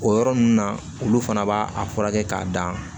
O yɔrɔ ninnu na olu fana b'a furakɛ k'a dan